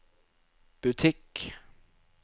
butikk